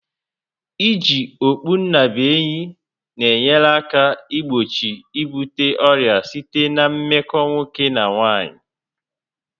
I ji okpunnabuenyi na enyere aka igbochi ibute ọrịa si na meko nwoke na nwaanyị